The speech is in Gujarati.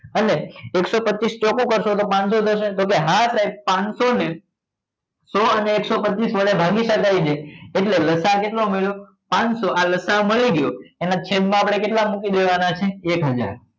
અને એકસો પચીસ ચોકુ કરશો તો પાનસો દસ પાનસો ને સો અને એકસ્સો પચ્ચીસ વડે ભાગી એટલે લસાઅ કેટલો મળ્યો પાનસો આ લસા મળી ગયો એના છેદમાં આપણે કેટલા મુકીશું મૂકી દેવાના છે એક હજાર